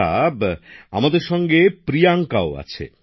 আচ্ছা আমাদের সঙ্গে প্রিয়াঙ্কাও আছে